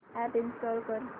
app install कर